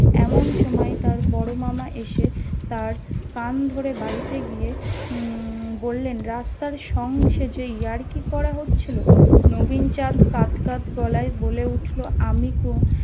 এমন সময়ে তার বড় মামা এসে তার কান ধরে বাড়িতে গিয়ে উম বললেন রাস্তার সং সেজে ইয়ার্কি করা হচ্ছিল নবীন চাঁদ কাদ কাদ গলায় বলে উঠলো আমি কো